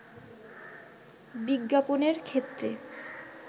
বিজ্ঞাপনের ক্ষেত্রে